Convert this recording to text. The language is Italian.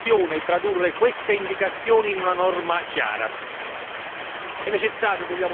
Adesso spetterà alla Commissione tradurre queste indicazioni in una norma chiara.